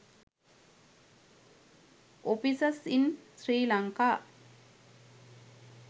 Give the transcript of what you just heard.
offices in sri lanka